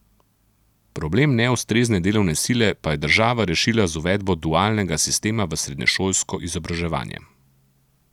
Problem neustrezne delovne sile pa je država rešila z uvedbo dualnega sistema v srednješolsko izobraževanje.